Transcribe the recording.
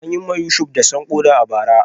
An yi wa Yusuf dashen koda a bara.